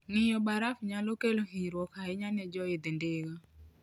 Ng'iyo baraf nyalo kelo hinyruok ahinya ne joidh ndiga.